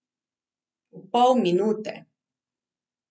V pol minute.